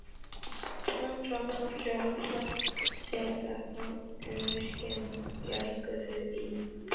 Lagt fram frumvarp til laga um virkjun jarðgufu í